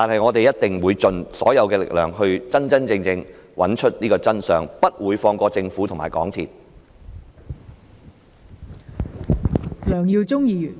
我們一定會盡所有力量真真正正地找出真相，不會放過政府和港鐵公司。